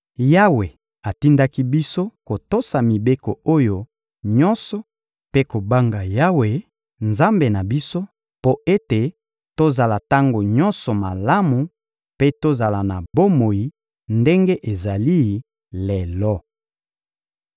Yawe atindaki biso kotosa mibeko oyo nyonso mpe kobanga Yawe, Nzambe na biso, mpo ete tozala tango nyonso malamu mpe tozala na bomoi ndenge ezali lelo.